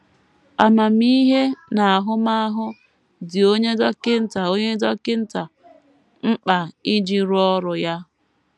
Amamihe na ahụmahụ dị onye dọkịta onye dọkịta mkpa iji rụọ ọrụ ya.